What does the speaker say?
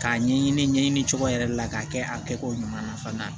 K'a ɲɛɲini ɲɛɲini cogo yɛrɛ de la k'a kɛ a kɛcogo ɲuman na fana